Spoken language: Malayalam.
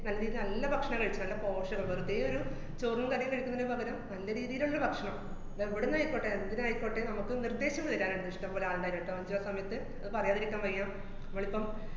നല്ല രീതീല് നല്ല ഭക്ഷണം കഴിച്ചിട്ടുണ്ട്. നല്ല പോഷകം, വെറുതെ ഒരു ചോറും കറീം കഴിക്കുന്നേനു പകരം നല്ല രീതീലുള്ളൊരു ഭക്ഷണം അത് എവിടുന്നായിക്കോട്ടെ, എന്തരായിക്കോട്ടേ, നമുക്ക് നിര്‍ദ്ദേശം എടുക്കാനാണിഷ്ടം ഒരാളുടെ കേട്ടോ അഞ്ജു ആ സമയത്ത് അത് പറയാതിരിക്കാന്‍ വയ്യ, മ്മളിപ്പം